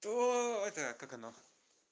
то это как оно